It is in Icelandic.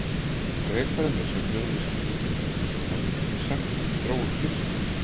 Frekara lesefni á Vísindavefnum: Hvað getið þið sagt mér um þróun fiska?